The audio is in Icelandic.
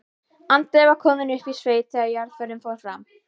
Andri var kominn upp í sveit þegar jarðarförin fór fram.